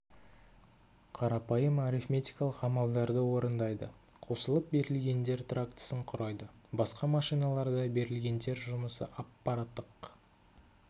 қарапайым арифметикалық амалдарды орындайды қосылып берілгендер трактісін құрайды басқа машиналарда берілгендер жұмысы аппараттық